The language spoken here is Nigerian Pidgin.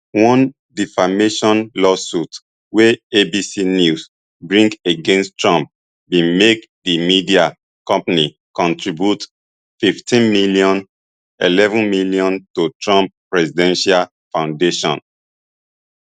one defamation lawsuit wey abc news bring against trump bin make di media company contribute fifteenm eleven m to trump presidential foundation